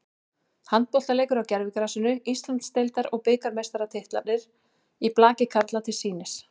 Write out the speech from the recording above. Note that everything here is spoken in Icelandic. Handboltaleikur á gervigrasinu, Íslands- deildar og bikarmeistaratitlarnir í blaki karla til sýnis.